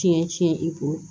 Tiɲɛ tiɲɛ i kun